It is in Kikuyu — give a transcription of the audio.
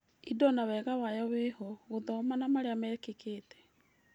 Indo na wega wayo wĩho. Gũthoma na marĩa mekĩkĩte